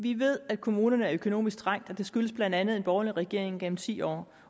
vi ved at kommunerne er økonomisk trængt og det skyldes blandt andet en borgerlig regering gennem ti år